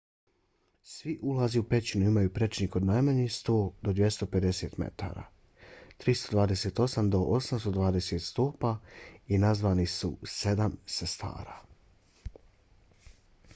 svi ulazi u pećinu imaju prečnik od najmanje 100 do 250 metara 328 do 820 stopa i nazvani su sedam sestara